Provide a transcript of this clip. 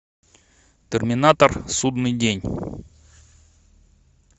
терминатор судный день